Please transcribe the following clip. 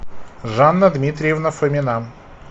жанна дмитриевна фомина